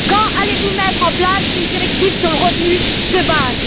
Quand allez vous mettre en place une directive sur le revenu de base?